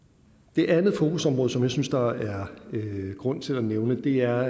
det andet fokusområde som jeg synes der er grund til at nævne er